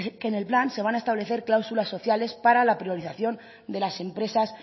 que en el plan se van a establecer cláusulas sociales para la priorización de las empresas